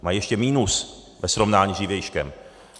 Mají ještě minus ve srovnání s dřívějškem.